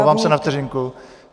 Omlouvám se, na vteřinku.